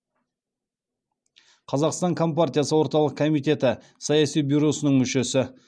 қазақстан компартиясы орталық комитеті саяси бюросының мүшесі